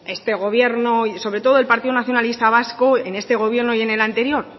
este gobierno sobre todo el partido nacionalista vasco en este gobierno y en el anterior